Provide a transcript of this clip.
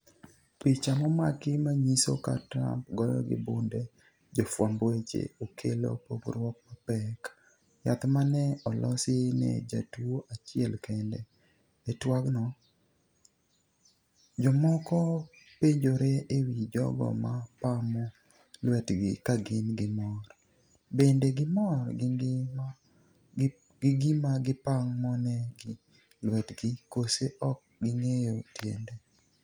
picha momaki manyiso ka Trump “goyo gi bunde” jofwamb weche, okelo pogruok mapek. Yath ma ne olosi ne jatuwo achiel kende. E twak no, jomoko penjore e wi jogo ma pamo lwetgi kagin gi mor, bende gimor gi gima gipamonegi lwetgi kose ok ging'eyo tiende?